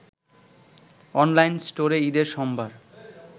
online স্টোরে ঈদের সম্ভার